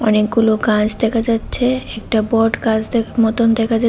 অনেকগুলো গাছ দেখা যাচ্ছে একটা বটগাছ দে মতোন দেখা যা--